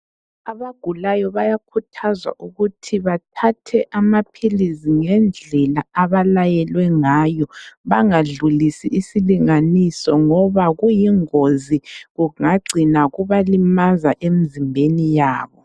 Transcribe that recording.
Abagulayo bayakhuthazwa ukuthi bathathe amaphilizi ngendlela abalayelwe ngayo, bangadlulisi isilinganiso ngoba kuyingozi kungacina kubalimaza emizimbeni yabo.